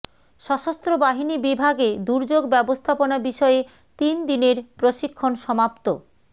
সশস্ত্র বাহিনী বিভাগে দুর্যোগ ব্যবস্থাপনা বিষয়ে তিন দিনের প্রশিক্ষণ সমাপ্ত